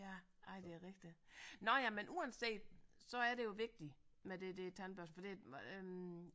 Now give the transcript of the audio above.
Ja ej det er rigtigt nåh ja men uanset så er det jo vigtigt med det der tandbørste for det øh